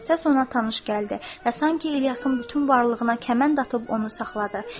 Səs ona tanış gəldi və sanki İlyasın bütün varlığına kəmənd atıb onu saxladı.